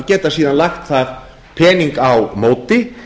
geta síðan lagt þar pening á móti